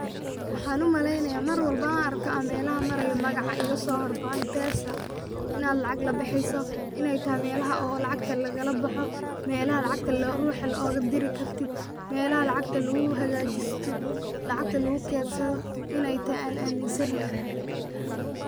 Waxan umaleynaya marwalbo an arko melahan marayo magaca igasohorboho m-pesa inan lacag labeheyso inay taxay melaha oo lacagta lagalaboxo, melaha lacagta ruxaa ugafiri kartid, melaha lacagta laguhagajisto, lacagta laguketsado inay taxay ayan aminsanyexe.